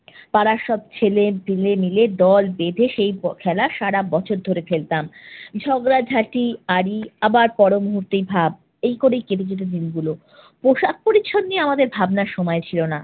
পাড়ার সব ছেলেপেলে মিলে দল বেধে সে খেলা সারা বছর ধরে খেলতাম। ঝগড়াঝাটি, আড়ি আবার পর মুহূর্তেই ভাব এই করে কেটে গেলো দিনগুলো। পোশাক-পরিচ্ছদ নিয়ে আমদের ভাবনার সময় ছিল না।